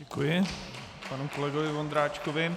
Děkuji panu kolegovi Vondráčkovi.